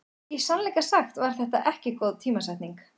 Í sannleika sagt var þetta ekki góð tímasetning.